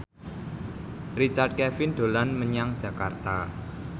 Richard Kevin dolan menyang Jakarta